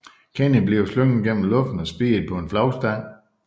Kenny bliver slynget gennem luften og spiddet på en flagstang